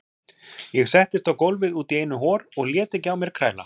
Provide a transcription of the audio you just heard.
Ég settist á gólfið útí einu hor og lét ekki á mér kræla.